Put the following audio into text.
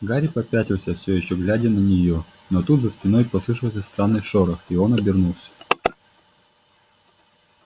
гарри попятился всё ещё глядя на неё но тут за спиной послышался странный шорох и он обернулся